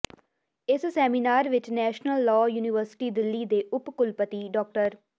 ਇਸ ਸੈਮੀਨਾਰ ਵਿੱਚ national law university Delhi ਦੇ ਉਪ ਕੁਲਪਤੀ ਡਾ